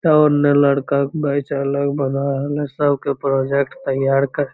त ओन्ने लड़का के बैच अलग बन रहल है सबके प्रोजेक्ट तैयार कर --